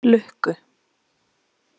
Lukku